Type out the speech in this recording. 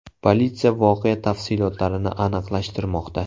Politsiya voqea tafsilotlarini aniqlashtirmoqda.